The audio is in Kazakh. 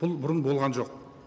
бұл бұрын болған жоқ